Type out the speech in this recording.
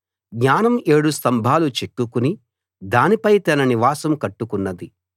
జ్ఞానం ఏడు స్తంభాలు చెక్కుకుని దానిపై తన నివాసం కట్టుకున్నది